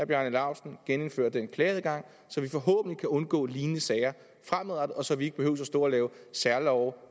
bjarne laustsen genindføre den klageadgang så vi forhåbentlig kan undgå lignende sager fremadrettet og så vi ikke behøver stå og lave særlove